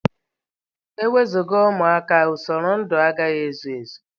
Enwezuga ụmụaka, usoro ndụ agaghị ezu Ezi.